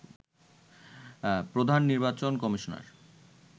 প্রধান নির্বাচন কমিশনার